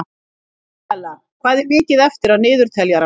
Isabella, hvað er mikið eftir af niðurteljaranum?